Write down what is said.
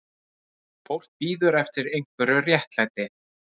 Fólk bíður eftir einhverju réttlæti